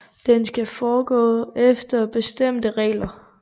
Den skal foregå efter bestemte regler